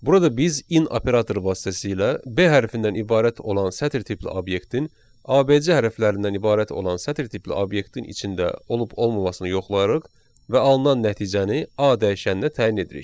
Burada biz in operator vasitəsilə b hərfindən ibarət olan sətir tipli obyektin ABC hərflərindən ibarət olan sətir tipli obyektin içində olub olmamasını yoxlayırıq və alınan nəticəni a dəyişəninə təyin edirik.